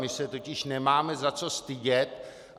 My se totiž nemáme za co stydět.